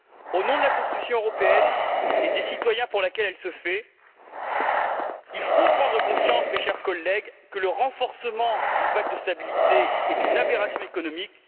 Au nom de la construction européenne et des citoyens pour laquelle elle se fait, il faut prendre conscience, mes chers collègues, que le renforcement du pacte de stabilité est une aberration économique.